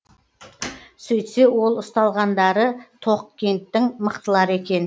сөйтсе ол ұсталғандары тоқкенттің мықтылары екен